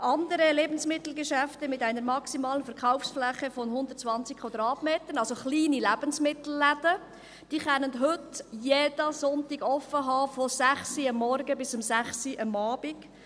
«andere Lebensmittelgeschäfte mit einer maximalen Verkaufsfläche von 120 m²», also kleine Lebensmittelläden, können heute jeden Sonntag von 6 Uhr morgens bis 18 Uhr abends offen haben.